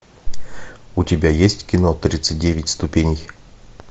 у тебя есть кино тридцать девять ступеней